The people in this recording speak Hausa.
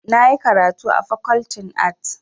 Na yi karatu a Fakoltin Arts.